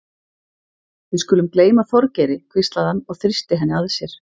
Við skulum gleyma Þorgeiri hvíslaði hann og þrýsti henni að sér.